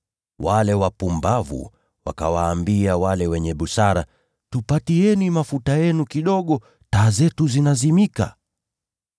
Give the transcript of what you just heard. Wale wapumbavu wakawaambia wale wenye busara, ‘Tupatieni mafuta yenu kidogo; taa zetu zinazimika.’